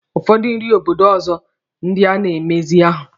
Ụfọdụ nri obodo ọzọ ndị a na-emezi ahụ.